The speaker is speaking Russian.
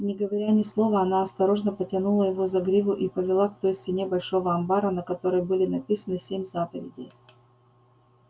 не говоря ни слова она осторожно потянула его за гриву и повела к той стене большого амбара на которой были написаны семь заповедей